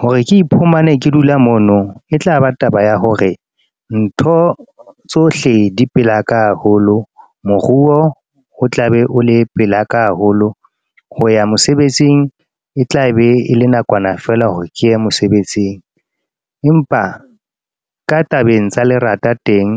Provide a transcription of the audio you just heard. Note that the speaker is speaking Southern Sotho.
Hore ke iphumane ke dula mono e tlaba taba ya hore ntho tsohle di pela ka haholo. Moruo o tla be o le pela ka haholo ho ya mosebetsing, e tla be e le nakwana fela hore ke ye mosebetsing. Empa ka tabeng tsa lerata teng